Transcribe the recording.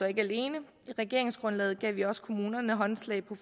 ikke alene i regeringsgrundlaget gav vi også kommunerne håndslag på